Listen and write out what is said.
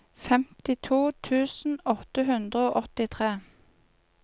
femtito tusen åtte hundre og åttitre